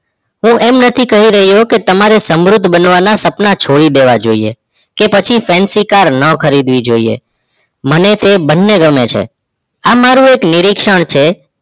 હું એમ નથી કહી રહીયો કે તમારે સમૃદ્ધ બનવાના સપના છોડી દેવા જોઈએ કે પછી fancy car ન ખરીદવી જોઈએ મને તે બંને ગમે છે આમ મારું એક નિરીક્ષણ છે